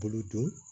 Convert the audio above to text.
Bolo don